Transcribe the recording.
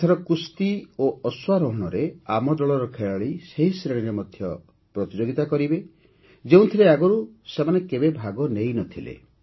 ଏଥର କୁସ୍ତି ଓ ଅଶ୍ୱାରୋହଣରେ ଆମ ଦଳର ଖେଳାଳି ସେହି ଶ୍ରେଣୀରେ ମଧ୍ୟ ପ୍ରତିଯୋଗିତା କରିବେ ଯେଉଁଥିରେ ଆଗରୁ ସେମାନେ କେବେ ଭାଗ ନେଇନଥିଲେ